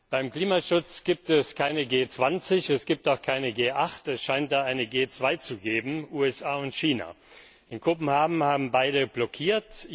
Beim Klimaschutz gibt es keine G20, es gibt auch keine G8, es scheint da eine G2 zu geben USA und China. In Kopenhagen haben beide blockiert.